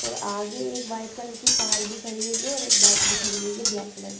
और आगे एक वाईट कलर की कार भी खड़ी हुई हैं और एक बाईक भी खड़ी हुई हैं ब्लैक कलर--